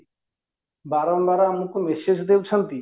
ବାରମ୍ବାର ଆମକୁ message ଦଉଛନ୍ତି